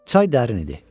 Çay dərin idi.